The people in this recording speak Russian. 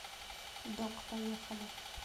док поехали